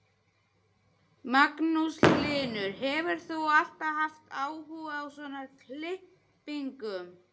Magnús Hlynur: Hefur þú alltaf haft áhuga á svona klippingum?